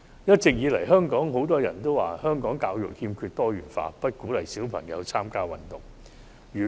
一直以來，香港很多人都說香港教育不夠多元化，不鼓勵小朋友參加運動。